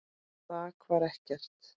Þak var ekkert.